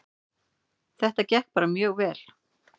Þetta gekk bara mjög vel